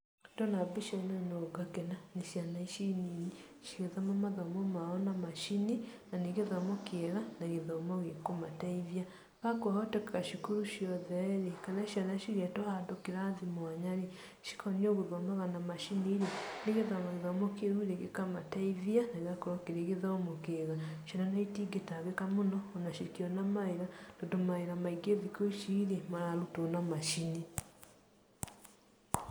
Ndona mbica ĩno no ngakena, nĩ ciana ici nini cigĩthoma mathomo mao na macini, na nĩ gĩthomo kĩega na gĩthomo gĩkũmateithia. Korwo kwahoteka cukuru ciothe rĩ, kana ciana cigetwo handũ kĩrathi mwanya rĩ cikonio gũthomaga na macini rĩ, nĩ getha ona gĩthomo kĩu rĩ gĩkamateithia na gĩgakorwo kĩrĩ gĩthomo kĩega. Ciana ona itingĩtangĩka mũno ona cingiona mawĩra tondũ mawĩra maingĩ thikũ ici rĩ, mararutwo na macini.